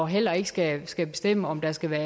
heller ikke skal skal bestemme om der skal være